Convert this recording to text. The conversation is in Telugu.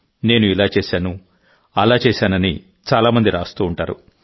నేను ఇలా చేశాను అలా చేశానని చాలా మంది రాస్తూ ఉంటారు